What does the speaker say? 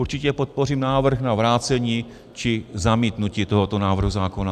Určitě podpořím návrh na vrácení či zamítnutí tohoto návrhu zákona.